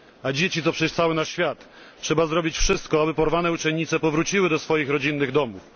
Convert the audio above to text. Dzieci to przecież cały nasz świat. Dlatego trzeba zrobić wszystko, by porwane uczennice powróciły do swoich rodzinnych domów.